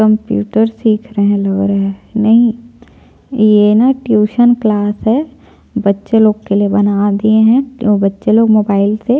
computer सिख रहै है लग रहा है नहीं ये ना ट्यूशन क्लास है बच्चे लोग के लिए बना दिए है अव बच्चे लोग मोबाईल से --